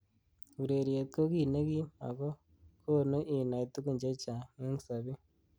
Ureriet ko ki nekiim ako konu inai tukun chechang eng sabet.